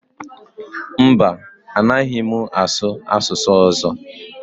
Mba, anaghị m asụ asụsụ ọzọ